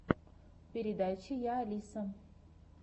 передача я алиса